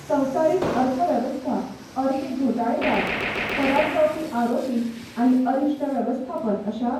संवसारीक अर्थवेवस्था, अर्थीक घोटाळेबाज, फरार जावपी आरोपी आनी अरिश्ट वेवस्थापन अशा